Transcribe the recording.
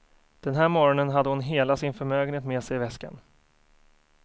Den här morgonen hade hon hela sin förmögenhet med sig i väskan.